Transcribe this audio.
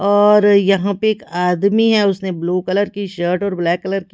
और यहाँ पे एक आदमी है उसने ब्लू कलर की शर्ट और ब्लैक कलर की--